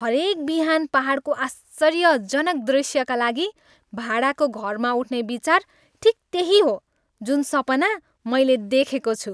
हरेक बिहान पाहाडको आश्चर्यजनक दृश्यका लागि भाडाको घरमा उठ्ने विचार ठिक त्यही हो जुन सपना मैले देखेको छु।